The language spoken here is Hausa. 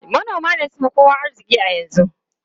Manoma ne suka fi kowa arziki a yanzu.